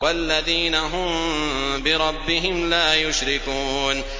وَالَّذِينَ هُم بِرَبِّهِمْ لَا يُشْرِكُونَ